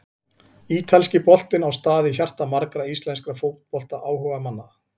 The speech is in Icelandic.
Ítalski boltinn á stað í hjarta margra íslenskra fótboltaáhugamanna.